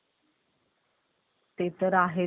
ते तर आहेत मला तर खूप पटलं